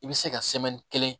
I bɛ se ka kelen